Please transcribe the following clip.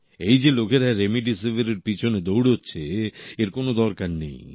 এই যে লোকেরা রেমডিসিভিরের পেছনে দৌড়চ্ছে এর কোনো দরকার নেই